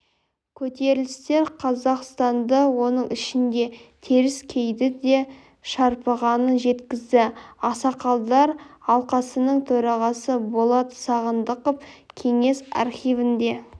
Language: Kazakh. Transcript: көтерілістер қазақстанды оның ішінде теріскейді де шарпығанын жеткізді ақсақалдар алқасының төрағасы болат сағындықов кеңес архивінде